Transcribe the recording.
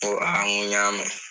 N ko n ko y'a mɛn.